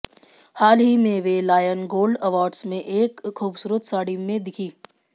हाल ही में वे लायन गोल्ड अवॉर्ड्स में एक खूबसूरत साड़ी में दिखीं